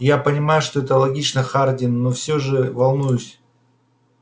я понимаю что это логично хардин но все же волнуюсь